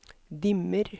dimmer